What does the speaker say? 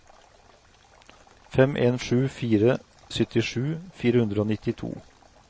fem en sju fire syttisju fire hundre og nittito